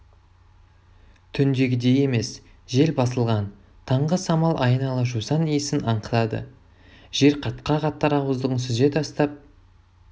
түндегідей емес жел басылған таңғы самал айнала жусан иісін аңқытады жер қатқақ аттар ауыздығын сүзе тастап